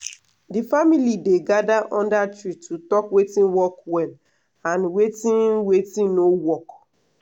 the family dey gather under tree to talk watin work well and watin watin no work.